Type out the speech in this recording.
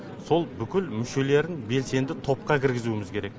сол бүкіл мүшелерін белсенді топқа кіргізуіміз керек